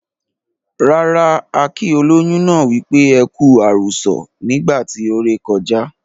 Rara, a kii ólóyún náà wípé"ẹku àrùsọ̀" nígbà tí ó ré kọjá.